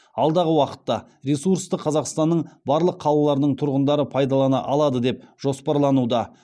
алдағы уақытта ресурсты қазақстанның барлық қалаларының тұрғындары пайдалана алады деп жоспарлануда